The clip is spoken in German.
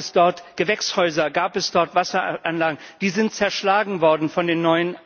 Gab es dort Gewächshäuser, gab es dort Wasseranlagen, die sind zerschlagen worden von den neuen